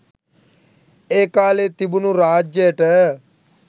ඒ කාලේ තිබුණු රාජ්‍යයට